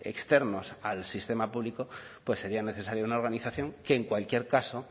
externos al sistema público pues sería necesaria una organización que en cualquier caso